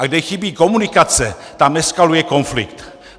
A kde chybí komunikace, tam eskaluje konflikt.